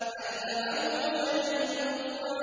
عَلَّمَهُ شَدِيدُ الْقُوَىٰ